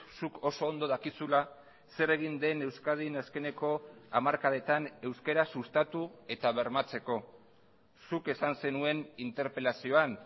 zuk oso ondo dakizula zer egin den euskadin azkeneko hamarkadetan euskara sustatu eta bermatzeko zuk esan zenuen interpelazioan